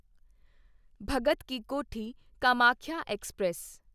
Bhagat ki Kothi Kamakhya express